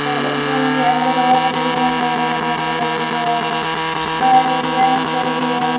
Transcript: अ इस रूम के अंदर और भी रूम है दरवाजा लगा हुआ है बाहर एक बेंच पड़ी है।